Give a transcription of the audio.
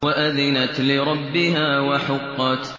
وَأَذِنَتْ لِرَبِّهَا وَحُقَّتْ